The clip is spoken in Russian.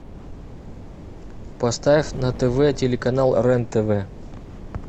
поставь на тв телеканал рен тв